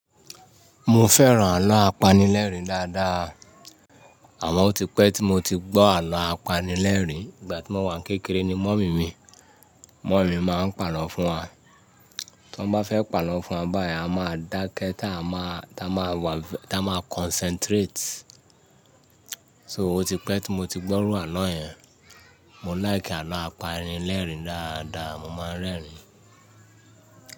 Mo fẹ́ràn àlọ́ apanilẹ́rìn dáadáa. Àmọ́ọ otípẹ́ tí mo ti gbọ́ àlọ́ apanilẹ́rìn ìgbà tí mo wà ní kékeré ni mọ̀mí mi. Mọ́mì má pa àlọ́ fún wa tí wọ́n bá fẹ́ pa àlọ́ fún wa báyìí, a máa dákẹ́ tá a máa, tá a máa wà, tá a máa concentrate. So, otípẹ́ tí mo ti gbọ́ rú àlọ́ yẹn, mo like àlọ́ apanilẹ́rìn dáadáa, mo máa ń rẹ́rìn-ín.